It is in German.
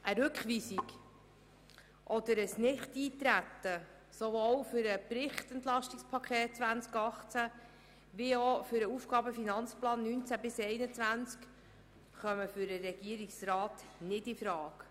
Eine Rückweisung oder ein Nichteintreten sowohl auf das EP 2018 als auch auf den AFP 2019–2021 kommen für den Regierungsrat nicht infrage.